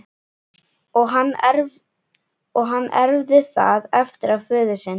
Og hann erfði það eftir föður sinn.